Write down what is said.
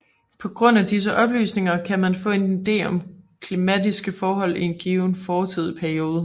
På grundlag af disse oplysninger kan man få en ide om klimatiske forhold i en given fortidig periode